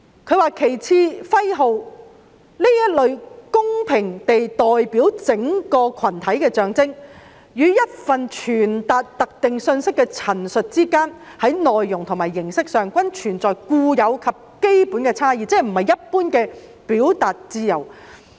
"旗幟、徽號......這類公平地代表整個群體的象徵，與一份傳達特定訊息的陳述之間，在內容和形式上，均存在固有及基本差異，即不是一般的表達自由。